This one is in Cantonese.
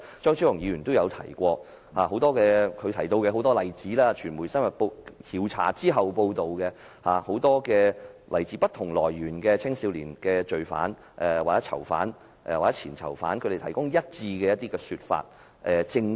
張超雄議員也提過這文化問題，也提到很多例子，傳媒深入調查後的報道，提供很多來自不同來源的青少年罪犯、囚犯或前囚犯的一致說法、證供。